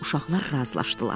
Uşaqlar razılaşdılar.